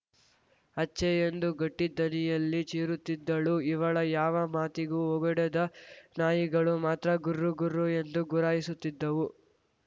ಅಚ್ಛೆ ಎಂದು ಗಟ್ಟಿಧನಿಯಲ್ಲಿ ಚೀರುತಿದ್ದಳು ಇವಳ ಯಾವ ಮಾತಿಗೂ ಓಗೊಡದ ನಾಯಿಗಳು ಮಾತ್ರ ಗುರ್ರ ಗುರ್ರ ಎಂದು ಗುರಾಯಿಸುತ್ತಿದ್ದವು